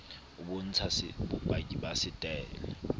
o bontsha bopaki ba setaele